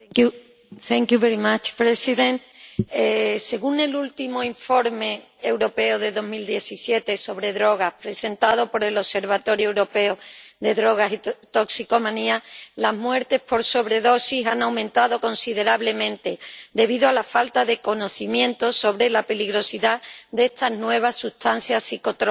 Señor presidente. Según el último Informe Europeo sobre Drogas 2017, presentado por el Observatorio Europeo de las Drogas y las Toxicomanías, las muertes por sobredosis han aumentado considerablemente debido a la falta de conocimientos sobre la peligrosidad de estas nuevas sustancias psicotrópicas.